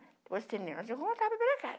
Depois do cinema, eu voltava para casa.